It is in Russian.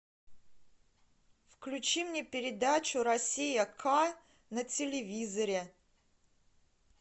включи мне передачу россия к на телевизоре